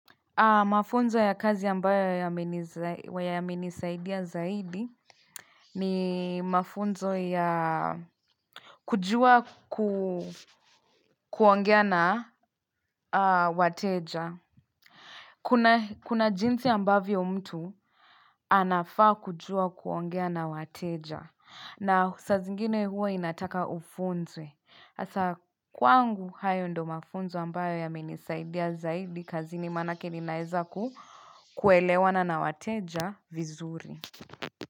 Mafunzo ya kazi ambayo yamenisaidia zaidi ni mafunzo ya kujua kuongea na wateja. Kuna jinsi ambavyo mtu anafaa kujua kuongea na wateja. Na saa zingine huwa inataka ufunzwe. Hasa kwangu hayo ndo mafunzo ambayo yamenisaidia zaidi kazini manake ninaeza kuelewana na wateja. Vizuri.